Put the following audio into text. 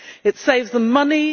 It saves them money.